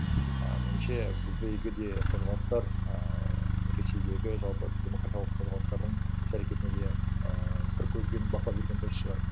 ііі меніңше бізде егер де қозғалыстар ііі ресейдегі жалпы демократиялық қозғалыстарының іс әрекетіне де ыыы бір көзбен бақылап жүрген дұрыс шығар